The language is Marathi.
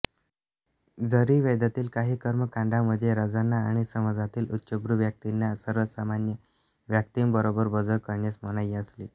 जरी वेदातील काही कर्मकांडांमध्ये राजांना आणि समाजातील उच्चभ्रू व्यक्तिंना सर्वसामान्यं व्यक्तिंबरोबर भोजन करण्यास मनाई असली